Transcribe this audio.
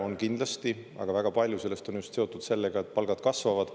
On kindlasti, aga väga palju sellest on seotud sellega, et palgad kasvavad.